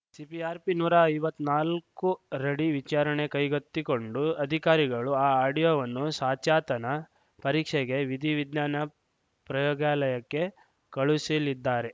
CrPC ನೂರಾ ಐವತ್ನಾಲ್ಕು ರಡಿ ವಿಚಾರಣೆ ಕೈಗೆತ್ತಿಕೊಂಡು ಅಧಿಕಾರಿಗಳು ಆ ಆಡಿಯೋವನ್ನು ಸಾಚಾತನ ಪರೀಕ್ಷೆಗೆ ವಿಧಿವಿಜ್ಞಾನ ಪ್ರಯೋಗಾಲಯಕ್ಕೆ ಕಳುಹಿಸಲಿದ್ದಾರೆ